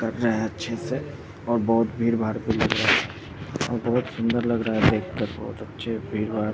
कर रहे है अच्छे से और बहुत भीड़ भाड़ भी लग रहा हैं और बहुत सुंदर लग रहा हैं देख कर भीड़-भाड़ --